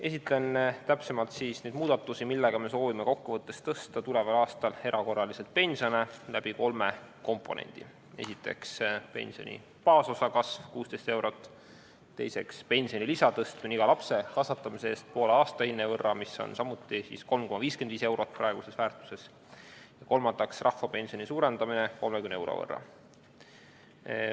Esitlen täpsemalt neid muudatusi, millega me soovime kokkuvõttes tõsta tuleval aastal erakorraliselt pensione läbi kolme komponendi: esiteks, pensioni baasosa kasv 16 eurot; teiseks, pensionilisa tõstmine iga lapse kasvatamise eest poole aastahinde võrra, mis on samuti 3,55 eurot praeguses väärtuses; kolmandaks, rahvapensioni suurendamine 30 euro võrra.